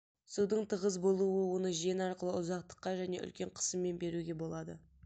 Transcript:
судын тығыз болуы оны жен арқылы ұзақтыққа және үлкен қысыммен беруге болады